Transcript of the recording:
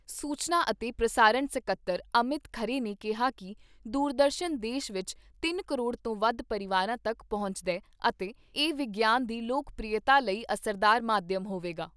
ਸੂਚਨਾ ਅਤੇ ਪ੍ਰਸਾਰਣ ਸਕੱਤਰ ਅਮਿਤ ਖਰੇ ਨੇ ਕਿਹਾ ਕਿ ਦੂਰਦਰਸ਼ਨ ਦੇਸ਼ ਵਿਚ ਤਿੰਨ ਕਰੋੜ ਤੋਂ ਵੱਧ ਪਰਿਵਾਰਾਂ ਤੱਕ ਪਹੁੰਚਦੈ ਅਤੇ ਇਹ ਵਿਗਿਆਨ ਦੀ ਲੋਕ ਪ੍ਰਿਯਤਾ ਲਈ ਅਸਰਦਾਰ ਮਾਧਿਅਮ ਹੋਵੇਗਾ।